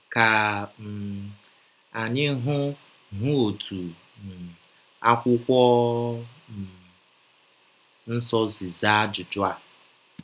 Ka um anyị hụ hụ ọtụ um Akwụkwọ um Nsọ si zaa ajụjụ a.